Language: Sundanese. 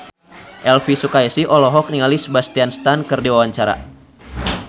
Elvi Sukaesih olohok ningali Sebastian Stan keur diwawancara